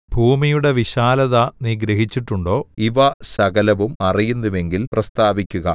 ഭൂമിയുടെ വിശാലത നീ ഗ്രഹിച്ചിട്ടുണ്ടോ ഇവ സകലവും അറിയുന്നുവെങ്കിൽ പ്രസ്താവിക്കുക